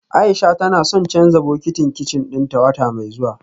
Aisha tana son canja bokitin kicin dinta wata mai zuwa